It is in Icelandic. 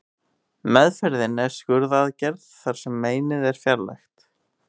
Meðferðin er skurðaðgerð þar sem meinið er fjarlægt.